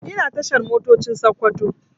Ina tashar Motocin Sakkwato